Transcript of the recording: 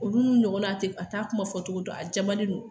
Olu n'u ɲɔgɔnna a tɛ a t'a kuma fɔ cogo dɔn a jamani don